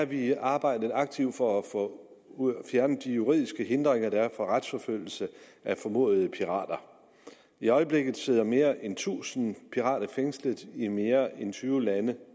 vi arbejdet aktivt for at få fjernet de juridiske hindringer der er for retsforfølgelse af formodede pirater i øjeblikket sidder mere en tusind pirater fængslet i mere end tyve lande